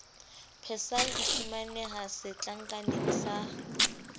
persal e fumaneha setlankaneng sa